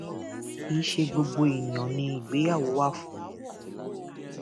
kì í ṣe gbogbo èèyàn ni ìgbéyàwó wà fún o